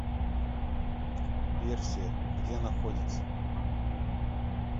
персия где находится